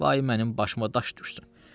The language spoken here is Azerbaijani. Vay mənim başıma daş düşsün!